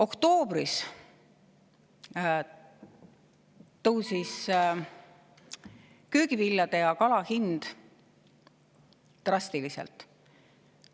Oktoobris tõusid köögivilja hind ja kala hind drastiliselt.